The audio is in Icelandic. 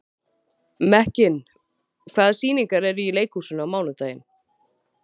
Mekkin, hvaða sýningar eru í leikhúsinu á mánudaginn?